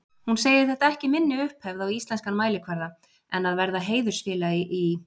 Hún segir þetta ekki minni upphefð á íslenskan mælikvarða en að verða heiðursfélagi í